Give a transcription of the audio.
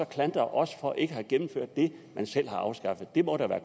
klandre os for ikke at have gennemført det man selv har afskaffet det må da være